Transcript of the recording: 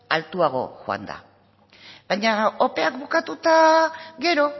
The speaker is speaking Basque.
altuago joan da baina opeak bukatu eta gero